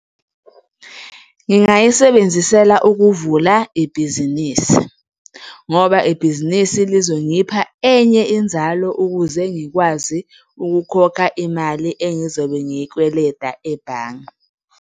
Ngingayisebenzisela ukuvula ibhizinisi ngoba ibhizinisi lizongipha enye inzalo ukuze ngikwazi ukukhokha imali engizobe ngiyikweleda ebhange.